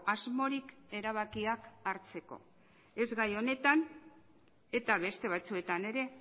asmorik erabakiak hartzeko ez gai honetan eta beste batzuetan ere